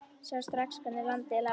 Sá strax hvernig landið lá.